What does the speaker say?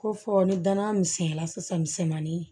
Ko fɔ ni danna misɛnya la sisan misɛnmanin